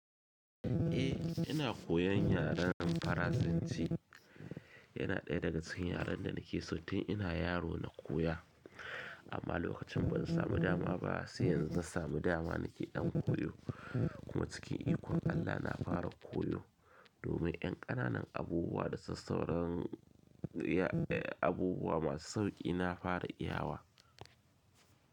Eh ina koyan yaren Faransanci yana ɗaya daga cikin yaren da nake so tun ina yaro na koya amma lokacin ban samu dama ba, sai yanzu zan samu dama nake dan koyo kuma cikin ikon Allah na fara koyo, domin yan ƙananan abubuwa da sassauƙan abubuwa masu sauƙi na fara iyawa.